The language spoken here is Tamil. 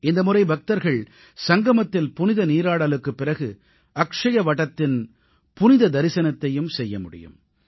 இந்தமுறை பக்தர்கள் சங்கமத்தில் புனித நீராடலுக்குப் பிறகு அக்ஷயவடத்தின் புனித தரிசனத்தையும் செய்ய முடியும்